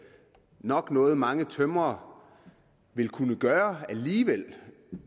nok noget som mange tømrere vil kunne gøre alligevel